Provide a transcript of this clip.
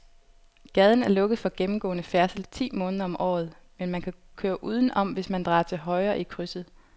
Gaden er lukket for gennemgående færdsel ti måneder om året, men man kan køre udenom, hvis man drejer til højre i krydset.